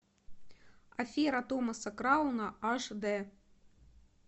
афера томаса крауна аш дэ